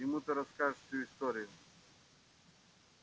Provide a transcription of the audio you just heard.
ему ты расскажешь всю историю